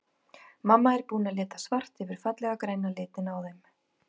Mamma er búin að lita svart yfir fallega græna litinn á þeim.